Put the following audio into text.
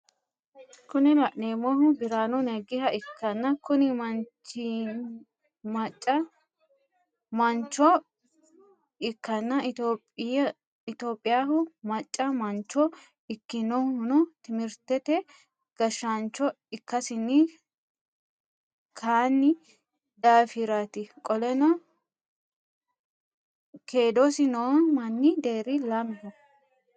Kuni laneemmohu biraanu neggiha ikkanna Kuni manchchinmacca mancho ikkana itiyoopiyaho macca manchcho ikkinohuno timirtete gashaanchcho ikkasinii Kani daafirati qoleno kedosi noo manni deeri lameho